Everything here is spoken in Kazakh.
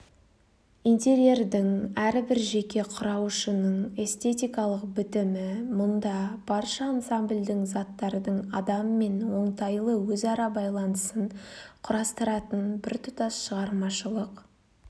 интерьердің әрбір жеке құрауышының эстетикалық бітімі мұнда барша ансамбльдің заттардың адаммен оңтайлы өзара байланысын қарастыратын біртұтас шығармашылық